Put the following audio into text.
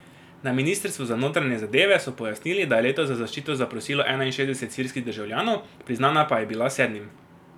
Na ministrstvu za notranje zadeve so pojasnili, da je letos za zaščito zaprosilo enainšestdeset sirskih državljanov, priznana pa je bila sedmim.